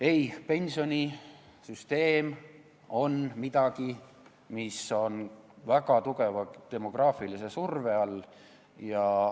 Ei, pensionisüsteem on midagi, mis on väga tugeva demograafilise surve all.